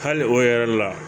Hali o yɛrɛ la